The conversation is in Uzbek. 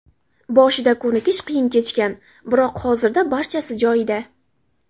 Boshida ko‘nikish qiyin kechgan, biroq hozirda barchasi joyida.